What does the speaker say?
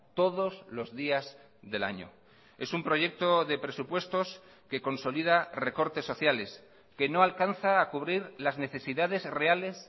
todos los días del año es un proyecto de presupuestos que consolida recortes sociales que no alcanza a cubrir las necesidades reales